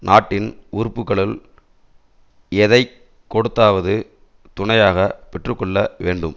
நாட்டின் உறுப்புக்களுள் எதை கொடுத்தாவது துணையாக பெற்று கொள்ள வேண்டும்